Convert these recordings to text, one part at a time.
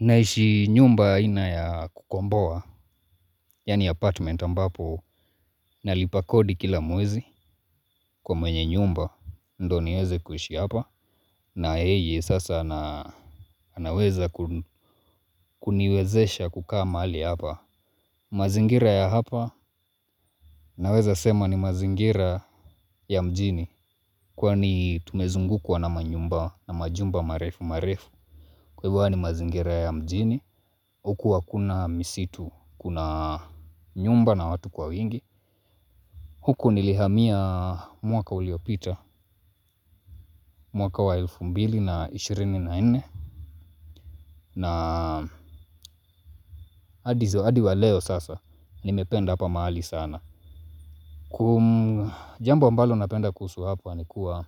Naishi nyumba aina ya kukombowa, yani apartment ambapo, nalipa kodi kila mwezi kwa mwenye nyumba, ndo niweze kuishi hapa, na yeye sasa anaweza kuniwezesha kukaa mahali hapa. Mazingira ya hapa, naweza sema ni mazingira ya mjini, kwani tumezungukwa na manyumba na majumba marefu marefu. Kwa hivyo huwa ni mazingira ya mjini. Huku hakuna misitu. Kuna nyumba na watu kwa wingi. Huku nilihamia mwaka uliopita. Mwaka wa elfu mbili na ishirini na nne naa adizo adi wa leo sasa. Nimependa hapa mahali sana. Kum jambo ambalo napenda kuhusu hapa nikuwa.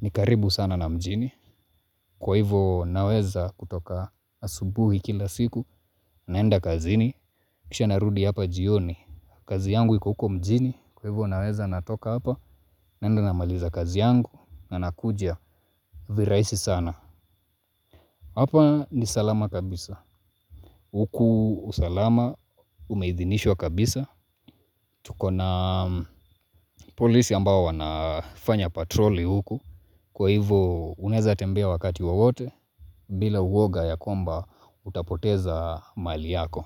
Nikaribu sana na mjini. Kwa hivyo naweza kutoka asubuhi kila siku. Naenda kazini. Kisha narudi hapa jioni. Kazi yangu iko huko mjini kwa hivyo naweza natoka hapa naenda namaliza kazi yangu na nakuja viraisi sana. Hapa ni salama kabisa. Huku usalama umeidhinishwa kabisa. Tuko na polisi ambao wanafanya patroli huku kwa hivo unaweza tembea wakati wowote bila uwoga ya kwamba utapoteza mali yako.